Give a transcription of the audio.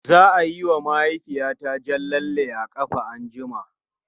Za a yi wa mahaifiyata jan lalle a ƙafa anjima.